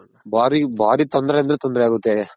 ಭಾರಿ ಭಾರಿ ತೊಂದ್ರೆ ಅಂದ್ರೆ ತೊಂದ್ರೆ ಆಗುತ್ತೆ.